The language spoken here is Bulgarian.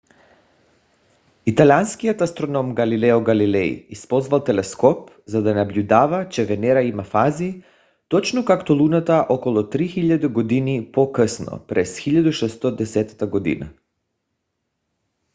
италианският астроном галилео галилей използвал телескоп за да наблюдава че венера има фази точно както луната около 3000 години по - късно през 1610 г